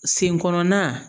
Sen kɔnɔnan